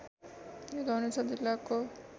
यो धनुषा जिल्लाको